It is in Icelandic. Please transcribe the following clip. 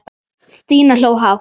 Stína hló hátt.